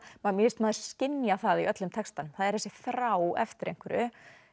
og mér finnst maður skynja það í öllum textanum það er þessi þrá eftir einhverju